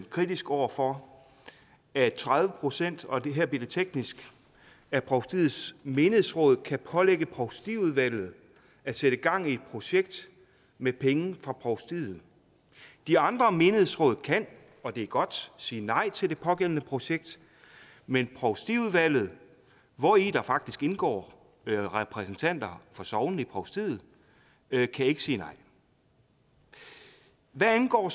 kritisk over for at tredive procent og her bliver det teknisk af provstiets menighedsråd kan pålægge provstiudvalget at sætte gang i et projekt med penge fra provstiet de andre menighedsråd kan og det er godt sige nej til det pågældende projekt men provstiudvalget hvori der faktisk indgår repræsentanter for sognene i provstiet kan ikke sige nej hvad angår